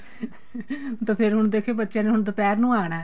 ਤਾਂ ਫੇਰ ਹੁਣ ਦੇਖੀ ਬੱਚਿਆਂ ਨੇ ਹੁਣ ਦੁਪਹਿਰ ਨੂੰ ਆਣਾ